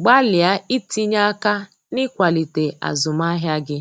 gbalịa itinye aka n’ịkwalite azụmahịa gị